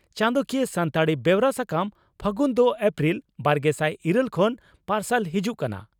ᱪᱟᱸᱫᱚᱠᱤᱭᱟᱹ ᱥᱟᱱᱛᱟᱲᱤ ᱵᱮᱣᱨᱟ ᱥᱟᱠᱟᱢ 'ᱯᱷᱟᱹᱜᱩᱱ' ᱫᱚ ᱮᱯᱨᱤᱞ ᱵᱟᱨᱜᱮᱥᱟᱭ ᱤᱨᱟᱹᱞ ᱠᱷᱚᱱ ᱯᱟᱨᱥᱟᱞ ᱦᱤᱡᱩᱜ ᱠᱟᱱᱟ ᱾